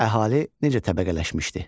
Əhali necə təbəqələşmişdi?